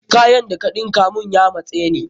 Kayan da ka ɗinka mun ya matse ni.